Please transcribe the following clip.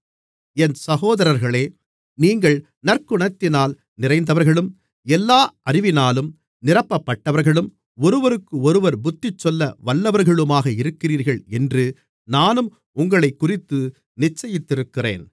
என் சகோதரர்களே நீங்கள் நற்குணத்தினால் நிறைந்தவர்களும் எல்லா அறிவினாலும் நிரப்பப்பட்டவர்களும் ஒருவருக்கொருவர் புத்திசொல்ல வல்லவர்களுமாக இருக்கிறீர்கள் என்று நானும் உங்களைக்குறித்து நிச்சயித்திருக்கிறேன்